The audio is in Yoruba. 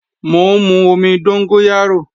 Mò ń mú omi dóngóyárò